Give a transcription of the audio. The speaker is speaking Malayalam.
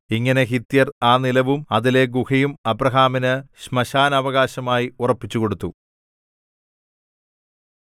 ഇങ്ങനെ ഹിത്യർ ആ നിലവും അതിലെ ഗുഹയും അബ്രാഹാമിന് ശ്മശാനാവകാശമായി ഉറപ്പിച്ചുകൊടുത്തു